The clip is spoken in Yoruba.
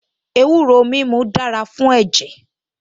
Ewúro mímu dára fún ẹ̀jẹ̀